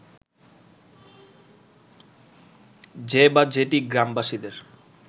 যে বা যেটি গ্রামবাসীদের